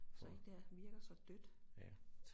Så ikke der virker så dødt